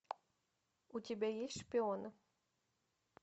у тебя есть шпионы